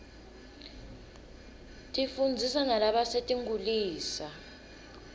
tifundzisa nalabasetinkhulisa